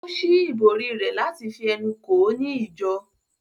Ó ṣí ìbòrí rẹ̀ láti fi ẹnu kò ó ní ìjọ